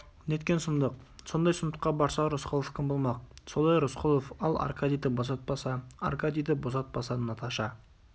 неткен сұмдық сондай сұмдыққа барса рысқұлов кім болмақ солай рысқұлов ал аркадийді босатпаса аркадийді босатпаса наташа